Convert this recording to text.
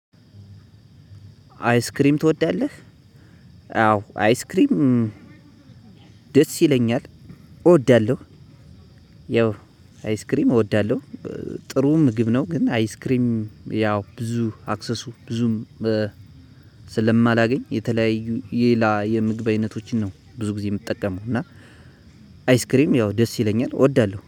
አይስክሬም ትወዳለህ? አዎ! አይስክሬም ደስ ይለኛል፤ እወዳለሁ ያው አይስክሬም እወዳለሁ፤ ጥሩ ምግብ ነው፤ ግን አይስክሬም ያው ብዙ አክሰሱ ብዙም ስለማላገኝ የተለያዩ የሌላ የምግብ አይነቶችን ነው ብዙ ጊዜ የምጠቀመው እና አይስክሬም ያው ደስ ይለኛል እወዳለሁ።